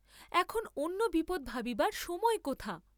এখন অন্য বিপদ ভাবিবার সময় কোথা?